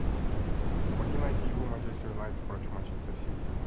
помоги найти игру манчестер юнайтед против манчестер сити